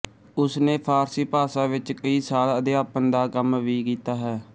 ਉਸਨੇ ਫ਼ਾਰਸੀ ਭਾਸ਼ਾ ਵਿੱਚ ਕਈ ਸਾਲ ਅਧਿਆਪਨ ਦਾ ਕੰਮ ਵੀ ਕੀਤਾ ਹੈ